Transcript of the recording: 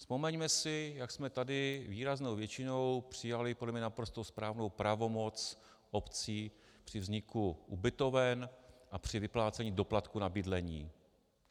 Vzpomeňme si, jak jsme tady výraznou většinou přijali podle mě naprosto správnou pravomoc obcí při vzniku ubytoven a při vyplácení doplatku na bydlení.